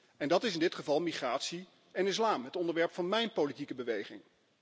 En dat is in dit geval migratie en islam, het onderwerp van mijn politieke beweging.